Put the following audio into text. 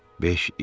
Beş il.